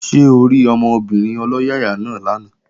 Ṣé orí ọmọbìnrin ọlọ́yàyà náà lánàá?